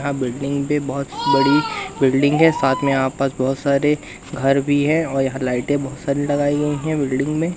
यहाँ बिल्डिंग भी बोहोत बड़ी बिल्डिंग है साथ में आस पास बहोत सारे घर भी है और यहाँ लाइटें बोहोत सारी लगाई गई हैं बिल्डिंग में।